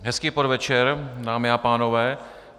Hezký podvečer, dámy a pánové.